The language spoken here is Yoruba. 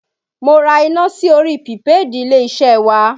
Mo ra iná sí orí pìpéèdì ilé-iṣẹ́ wa